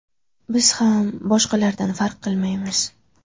Biz ham boshqalardan farq qilmaymiz.